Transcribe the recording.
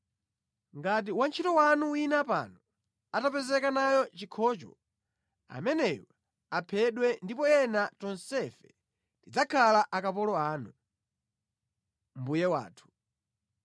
Ngati wantchito wanu wina pano atapezeka nacho chikhocho, ameneyo aphedwe ndipo ena tonsefe tidzakhala akapolo anu, mbuye wathu.”